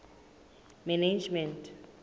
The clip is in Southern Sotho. management